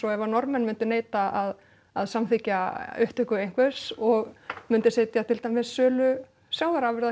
ef Norðmenn myndu neita að að samþykkja upptöku einhvers og mundi setja til dæmis sölu sjávarafurða